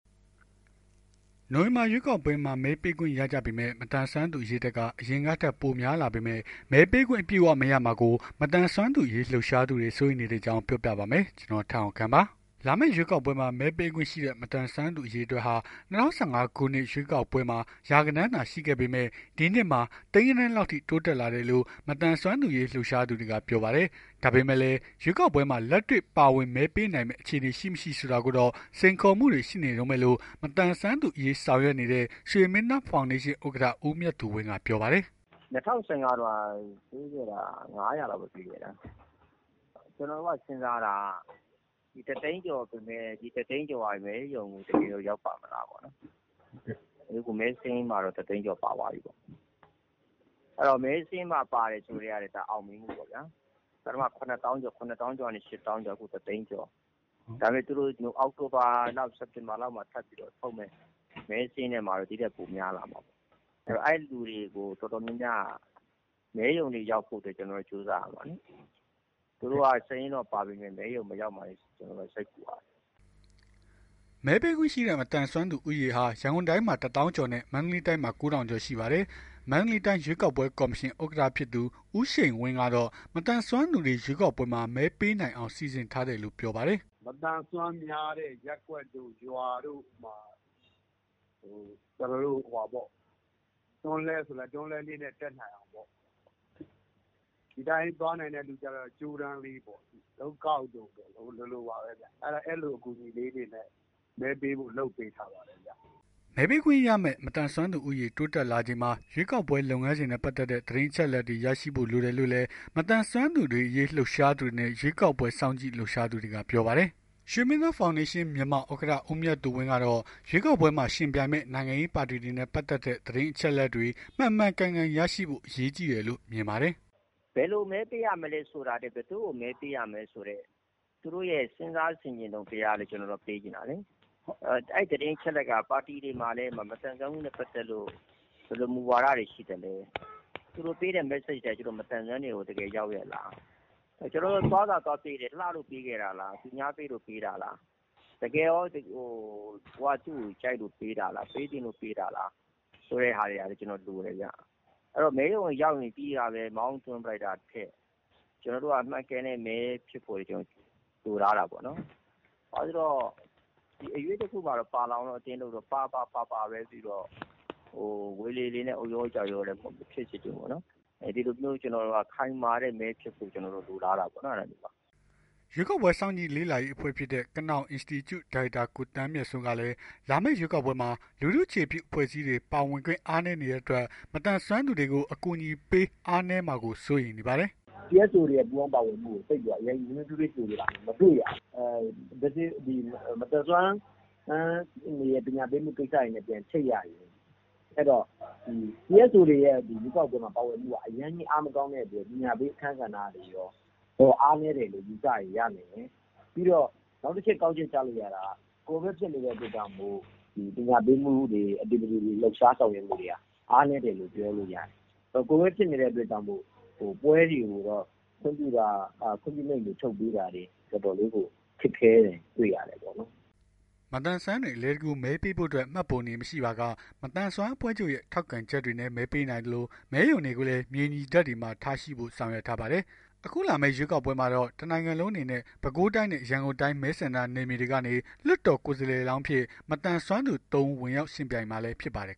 နိုဝင်ဘာ ရွေးကောက်ပွဲမှာ မဲပေးခွင့်ရကြမယ့် မသန်စွမ်းသူ အရေအတွက်ဟာ အရင်ကထက် ပိုများလာပေမဲ့ မဲပေးခွင့် အပြည့်အ၀ မရမှာကို မသန်စွမ်းသူအရေး လှုပ်ရှားသူတွေ စိုးရိမ်နေတဲ့အကြောင်း ပြောပြပါမယ်။ ဗွီအိုအေမြန်မာပိုင်းသတင်းထောက် ကိုထက်အောင်ခန့်က သတင်းပေးပို့ထားပါတယ်။ လာမယ့် ရွေးကောက်ပွဲမှာ မဲပေးခွင့်ရှိတဲ့ မသန်စွမ်းသူ အရေအတွက်ဟာ ၂၀၁၅ ခုနှစ် ရွေးကောက်ပွဲမှာ ရာဂဏန်းသာ ရှိခဲ့ပေမဲ့ ဒီနှစ်မှာတော့ သိန်းဂဏန်းလောက်အထိ တိုးလာတယ်လို့ မသန်စွမ်းသူများအရေး လှုပ်ရှားသူတွေက ပြောပါတယ်။ ဒါပေမဲ့လည်း ရွေးကောက်ပွဲမှာ လက်တွေ့ပါဝင် မဲပေးနိုင်မယ့် အခြေအနေ ရှိမရှိ ဆိုတာကတော့ စိန်ခေါ်မှုတွေ ရှိနေတုန်းပဲလို့ မသန်စွမ်းသူများအရေး ဆောင်ရွက်နေတဲ့ ရွှေမင်းသား ဖောင်ဒေးရှင်းမြန်မာ ဥက္ကဋ္ဌ ဦးမြတ်သူဝင်းကပြောပါတယ်။ “၂၀၁၅ တုန်းက ပေးခဲ့တာ ၅၀၀ လောက်ပဲပေးခဲ့တာ။ ကျွန်တော်တို့က စဉ်းစားတာက တသိန်းကျော်ပေမယ့် ဒီတသိန်းကျော်က မဲရုံကို တကယ်ကော ရောက်ပါ့မလားပေါ့။ မဲစာရင်းမှာတော့ တသိန်းကျော်ပါသွားပြီပေါ့။ မဲစာရင်းမှာပါတယ်ဆိုကတည်းက အောင်မြင်မှုပေါ့ဗျာ။ ကျနော်တို့ ၇၀,၀၀၀ ကျော်၊ ၈၀,၀၀၀ ကျော်ကနေ ၁၀၀,၀၀၀ ကျော်။ နောက် စက်တင်ဘာလောက်မှာ ထပ်ပြီး ထုတ်မယ့် စာရင်းထဲမှာတော့ ပိုများလာမှာပေါ့။ အဲ့လူတွေ တော်တော်များများကို မဲရုံကိုရောက်ဖို့ ကျနော်တို့ ကြိုးစားရမယ်။ သူတို့က စာရင်းထဲပါပေမယ့် မဲရုံ မရောက်မှာ စိတ်ပူရတယ်။” မဲပေးခွင့်ရှိတဲ့ မသန်စွမ်းသူ ဦးရေဟာ ရန်ကုန်တိုင်းမှာ ၁၀,၀၀၀ ကျော်နဲ့ မန္တလေးတိုင်းမှာတော့ ၉,၀၀၀ ကျော်ရှိပါတယ်။ မန္တလေးတိုင်း ရွေးကောက်ပွဲကော်မရှင် ဥက္ကဋ္ဌ ဖြစ်သူ ဦးရှိန်ဝင်းကတော့ မသန်စွမ်းသူတွေ ရွေးကောက်ပွဲမှာ မဲပေးနိုင်အောင် စီစဉ်ထားတယ်လို့ ပြောပါတယ်။ “မသန်စွမ်းများတဲ့ ရပ်ကွက်တို့ ရွာတို့မှာ ကျနော်တို့ တွန်းလှည်းဆိုလည်း တွန်းလှည်းလေးနဲ့ တက်နိုင်အောင် ဒီတိုင်းသွားနိုင်သူတွေဆိုလည်း ကြိုးတန်းလေးနဲ့ပေါ့။ တုတ်ကောက်လေးနဲ့ပေါ့ အဲ့လို အကူညီလေးတွေနဲ့ လုပ်ပေးထားပါတယ်။" မဲပေးခွင့်ရမယ့် မသန်စွမ်းဦးရေ တိုးလာနေချိန်မှာ ရွေးကောက်ပွဲ လုပ်ငန်းစဉ်နဲ့ ပတ်သက်တဲ့ သတင်းအချက်အလက်တွေ ရရှိဖို့ လိုတယ်လို့လည်း မသန်စွမ်းသူတွေအရေး လှုပ်ရှားသူတွေနဲ့ ရွေးကောက်ပွဲ စောင့်ကြည့် လှုပ်ရှားသူတွေက ပြောပါတယ်။ ရွှေမင်းသား ဖောင်ဒေးရှင်း မြန်မာ ဥက္ကဋ္ဌ ဦးမြတ်သူဝင်းကတော့ ရွေးကောက်ပွဲမှာ ယှဉ်ပြိုင်မယ့် နိုင်ငံရေးပါတီတွေနဲ့ ပတ်သက်တဲ့ သတင်းအချက်အလက်တွေ မှန်မှန်ကန်ကန် ရရှိဖို့ အရေးကြီးတယ်လို့ မြင်ပါတယ်။ “ဘယ်လို မဲပေးရမလည်းဆိုတာထက် ဘယ်သူ့ကို မဲပေးရမလည်းဆိုတဲ့ စဉ်းစား ဆင်ခြင်တုံတရားကို သူတို့ကို ပေးချင်တယ်။ အဲ့သတင်းအချက်အလက်ကလည်း ပါတီတွေမျာ မသန်စွမ်းမှုနဲ့ပတ်သက်လို့ ဘယ်လိုမူဝါဒတွေ ရှိသလဲ သူတို့ပေးတဲ့ မက်ဆေ့က မသန်စွမ်းတွေကို တကယ်ရောက်ရဲ့လား။ ကျနော်တို့က သွားတာ ပေးခဲ့တယ်၊ လှလို့ပေးခဲ့တာလား တကယ်ရော ကိုယ်က သူ့ကို ကြိုက်လို့ပေးတာလား။ ပေးချင်လို့ပေးတာလား လိုတယ်ဗျ။ အဲ့တော့ မဲရုံကိုရောက်ရင် ပြီးတာပဲ မောင်းသွင်းလိုက်တာထက် ကျနော်တို့က မှန်ကန်တဲ့ မဲဖြစ်ဖို့ လိုလားတာပေါ့။ ဒီအရွေ့တခုမှာ ပါလာပြီးတော့ ဝေလေလေနဲ့ အုတ်ရောရော ကျောက်ရောရောလည်း မဖြစ်စေချင်ဘူးပေါ့ နော်။ ဒီလိုမျိုး ကျနော်တို့ ခိုင်မာတဲ့ မဲဖြစ်ဖို့လိုလားတာပေါ့။” ရွေးကောက်ပွဲ စောင့်ကြည့်လေ့လာရေး အဖွဲ့ဖြစ်တဲ့ ကနောင်အင်စတီကျု ဒါရိုက်တာ ကိုသန်းမြတ်စိုးကလည်း လာမယ့်ရွေးကောက်ပွဲမှာ လူထုအခြေပြု အဖွဲ့အစည်းတွေ ပါဝင်ခွင့် အားနည်းနေတဲ့အတွက် မသန်စွမ်းသူတွေကို အကူအညီပေး အားနည်းမှာကို စိုးရိမ်နေပါတယ်။ “CSO တွေရဲ့ ပူးပေါင်းပါဝင်မှုကို နွေးနွေးထွေးထွေး ကြိုဆိုတာ မတွေ့ရဘူး။ မသန်စွမ်းပညာပေးမှု ကိစ္စတွေနဲ့ ပြန်ချိတ်ရရင် CSO တွေရဲ့ ပါဝင်မှုက ရွေးကောက်ပွဲမှာ အရမ်းကြီးအားမကောင်းတဲ့အတွက် ပညာပေး အခန်းကဏ္ဍတွေရော အရမ်းအားနည်းတယ်လို့ ယူဆရင်ရနိုင်တယ်။ ပြီးတော့ နောက်တချက် ကောက်ချက် ချလို့ရတာက ကိုဗစ်ဖြစ်နေတဲ့အတွက် ပညာပေးမှုတွေ လှုပ်ရှားဆောင်ရွက်မှုတွေက အားနည်းတယ်လို့ ပြောလို့ ရတယ်။ ကိုဗစ်ဖြစ်နေတဲ့ အတွက်ကြောင့် ပွဲတွေကို ခွင့်ပြုမိန့် ထုတ်ပေးတာ တော်တော်လေး ခက်ခဲတာ တွေ့ရတယ်။” မသန်စွမ်းတွေ အလွယ်တကူ မဲပေးဖို့အတွက် မှတ်ပုံတင် မရှိပါက မသန်စွမ်းအဖွဲ့ချုပ်ရဲ့ ထောက်ခံချက်တွေနဲ့ မဲပေးနိုင်သလို မဲရုံတွေကိုလည်း မြေညီထပ်တွေမှာ ထားဖို့ဆောင်ရွက်ထားပါတယ်။ အခုလာမယ့် ရွေးကောက်ပွဲမှာတော့ တနိုင်ငံလုံးအနေနဲ့ ပဲခူးတိုင်းနဲ့ ရန်ကုန်တိုင်း မဲဆန္ဒနယ်မြေတွေကနေ လွှတ်တော် ကိုယ်စားလောင်းအဖြစ် မသန်စွမ်းသူ သုံး ဦး ဝင်ရောက် ယှဉ်ပြိုင်မှာလည်း ဖြစ်ပါတယ်